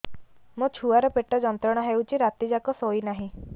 ମୋ ଛୁଆର ପେଟ ଯନ୍ତ୍ରଣା ହେଉଛି ରାତି ଯାକ ଶୋଇନାହିଁ